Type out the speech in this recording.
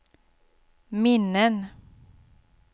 minnen